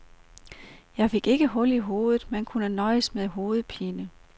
Jeg fik ikke hul i hovedet, men kunne nøjes med hovedpine.